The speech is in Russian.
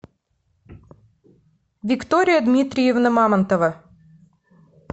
виктория дмитриевна мамонтова